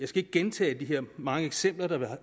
ikke gentage de mange eksempler der er